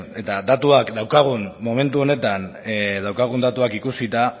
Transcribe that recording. eta datuak daukagun momentu honetan daukagun datuak ikusita